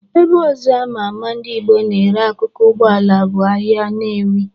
Ebe ọzọ ama ama ndị Igbo na-ere akụkụ Ụgbọala bụ ahịa Nnewi.